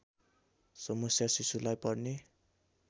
समस्या शिशुलाई पर्ने